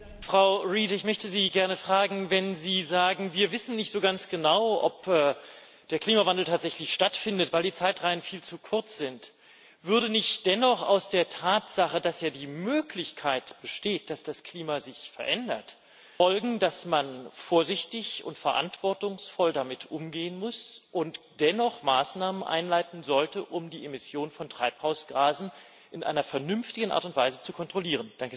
Frau Reid, ich möchte Sie gerne fragen Wenn Sie sagen, wir wissen nicht so ganz genau, ob der Klimawandel tatsächlich stattfindet, weil die Zeitreihen viel zu kurz sind, würde nicht dennoch aus der Tatsache, dass ja die Möglichkeit besteht, dass das Klima sich verändert, folgen, dass man vorsichtig und verantwortungsvoll damit umgehen muss und dennoch Maßnahmen einleiten sollte, um die Emission von Treibhausgasen in einer vernünftigen Art und Weise zu kontrollieren?